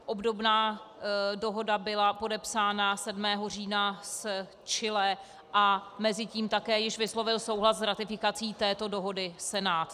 Obdobná dohoda byla podepsána 7. října s Chile a mezitím také již vyslovil souhlas s ratifikací této dohody Senát.